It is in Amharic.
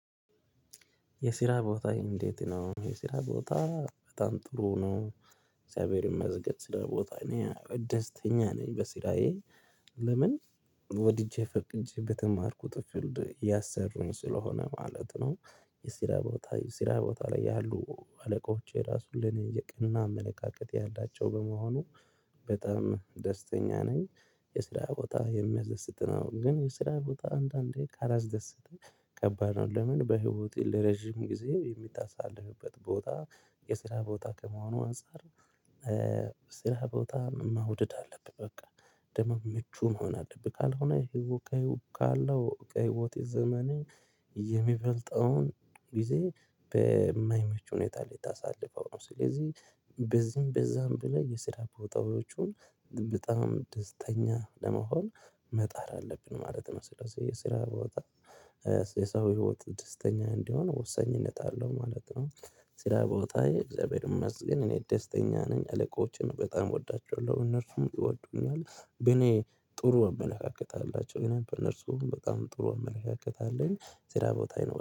የስራ ቦታ እንዴት? ነው የስራ ቦታ በጣም ጥሩ ነው። እግዚአብሔር ይመስገን ስራ ቦታ እኔ ደስተኛ ነኝ በስራዬ። ለምን ወድጄ ፈቅጄ በተማርኩት ፊልድ እያሰሩኝ ስለሆነ ማለት ነው። የስራ ቦታ የስራ ቦታ ላይ ያሉ አለቆች እራሱ ለኔ የቀና አመለካከት ያላቸው በመሆኑ በጣም ደስተኛ ነኝ። የስራ ቦታ የሚያስደስት ነው ግን የስራ ቦታ አንዳንዴ ካላስደሰተ ከባድ ነው ለምን በህይወቴ ለረጅም ጊዜ የምታሳልፍበት ቦታ የስራ ቦታ ከመሆኑ አንፃር። ስራ ቦታ መውደድ አለብህ በቃ! ደሞ ምቹ መሆን አለብህ። ካልሆነ ይሄ ወካይ ውቀይ ካለው ከህይወት ዘመን የሚበልጠውን ጊዜ በማይመች ሁኔታ ላይ ታሳልፈው ነው። ስለዚህ በዚህም በዛም ብለህ የስራ ቦታዎቹን በጣም ደስተኛ ለመሆን መጣር አለብን ማለት ነው። ስለዚህ የስራ ቦታ የሰው ህይወት ደስተኛ እንዲሆን ወሳኝነት አለው ማለት ነው። ስራቦታዬ እግዚአብሔር ይመስገን እኔ ደስተኛ ነኝ አለቆችን በጣም እወዳቸዋለሁ እነርሱም ይወዱኛል በእኔ ጥሩ አመለካከት አላቸው እኔም በእነርሱ በጣም ጥሩ አመለካከት አለኝ። ስራ ቦታ ይኖራል